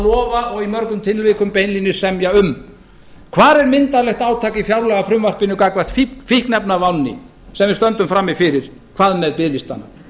lofa og í mörgum tilvikum beinlínis semja um hvar er myndarlegt átak i fjárlagafrumvarpinu gagnvart fíkniefnavánni sem við stöndum frammi fyrir hvað með biðlistana